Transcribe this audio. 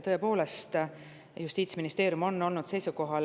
Tõepoolest, Justiitsministeeriumil on siin olnud oma seisukoht.